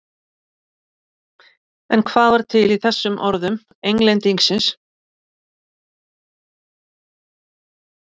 En hvað var til í þessum orðum Englendingsins?